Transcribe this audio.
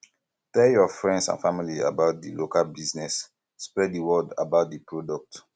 tell your friends and family about di local business spread di word about di product